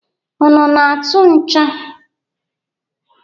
Unu na-atụ ǹchọ̀?